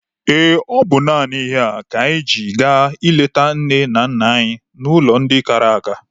Ee, ọ bụ naanị ihe a ka anyị ji aga ịleta nne na nna anyị n'ụlọ ndị kara nka.